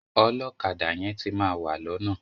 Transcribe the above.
Ọlọ́kadà yẹn ti máa wà lọ́nà.